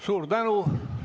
Suur tänu!